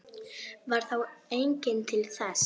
Varð þá enginn til þess.